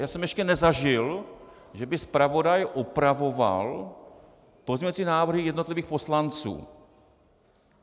Já jsem ještě nezažil, že by zpravodaj opravoval pozměňovací návrhy jednotlivých poslanců.